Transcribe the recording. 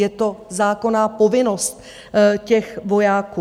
Je to zákonná povinnost těch vojáků.